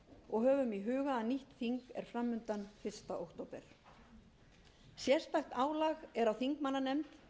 og höfum í huga að nýtt þing er fram undan fyrsta október sérstakt álag er á þingmannanefnd